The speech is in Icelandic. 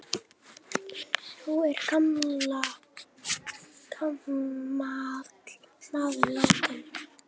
Nú er gamall maður látinn.